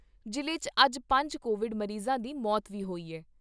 ਜ਼ਿਲ੍ਹੇ 'ਚ ਅੱਜ ਪੰਜ ਕੋਵਿਡ ਮਰੀਜ਼ਾਂ ਦੀ ਮੌਤ ਵੀ ਹੋਈ ਏ।